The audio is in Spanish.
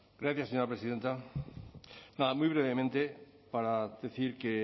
gracias señora presidenta nada muy brevemente para decir que